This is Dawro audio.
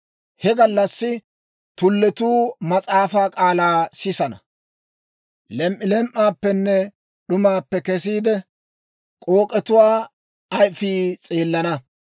He gallassi tulletuu mas'aafaa k'aalaa sisana; lem"ilem"aappenne d'umaappe kesiide, k'ook'etuwaa ayfii s'eelana.